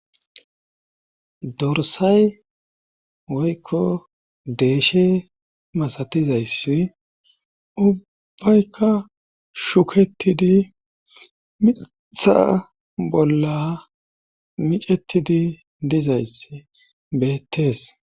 Dorsay woykko deeshe masatizaysi ubbaykka shuketidi mitha bolla micettidi dizayssi beettees.